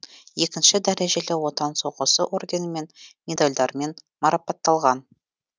екінші дәрежелі отан соғысы орденімен медальдармен марапатталған